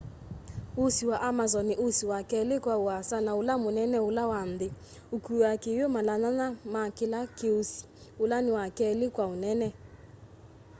usi wa amazon ni usi wa keli kwa uasa na ula munene ula wa nthi ukuaa kiwu mala 8 ma kila ki usi ula ni wa keli kwa unene